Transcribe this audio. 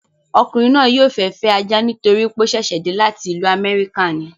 Ọkùnrin náà yóò fẹ́ fẹ́ ajá nítorí pé ó sẹ̀sẹ̀ dé láti ìlú amẹ́ríkà ni